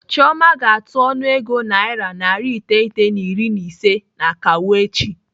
Chioma ga-atụ ọnụego naira narị iteghete na iri na ise n'akawo echi.